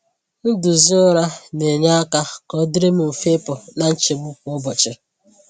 Nduzi ụra na-enye aka ka ọdịrị m mfe ịpụ na nchegbu kwa ụbọchị.